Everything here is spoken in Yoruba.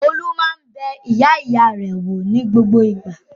Olú máa ń bẹ ìyá-ìyá rẹ̀ wò ní gbogbo ìgbà.